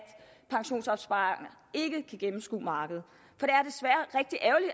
pensionsopsparerne ikke kan gennemskue markedet